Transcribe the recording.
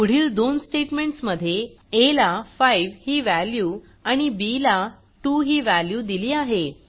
पुढील दोन स्टेटमेंटस मध्ये आ ला 5 ही व्हॅल्यू आणि बी ला 2 ही व्हॅल्यू दिली आहे